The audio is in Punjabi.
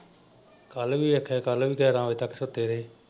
ਕੱਲ ਵੀ ਆਖਿਆ ਕੱਲ ਵੀ ਗਿਆਰਾਂ ਵਜੇ ਸੁੱਤੇ ਰਹਿ।